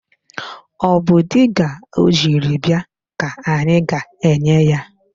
Ọ bụ diga ọ jiri bịa ka anyị ga-enye ya.